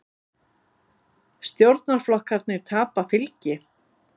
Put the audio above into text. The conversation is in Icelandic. Stjórnarflokkarnir tapa fylgi